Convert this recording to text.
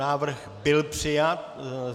Návrh byl přijat.